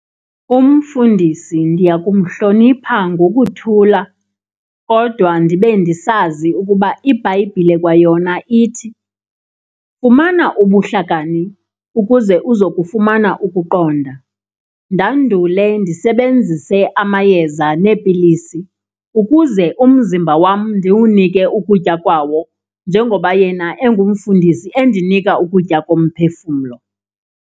Umfundisi ndiya kumhlonipha ngokuthula kodwa ndibe ndisazi ukuba iBhayibhile kwayona ithi, fumana ubuhlakani ukuze uzokufumana ukuqonda. Ndandule ndisebenzise amayeza neepilisi ukuze umzimba wam ndiwunike ukutya kwawo njengoba yena engumfundisi endinika ukutya komphefumlo.